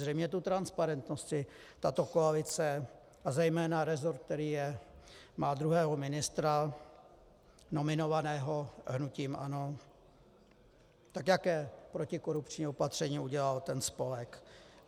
Zřejmě tu transparentnost si tato koalice a zejména resort, který má druhého ministra nominovaného hnutím ANO, tak jaké protikorupční opatření udělal ten spolek?